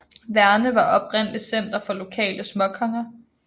Værne var oprindelig center for lokale småkonger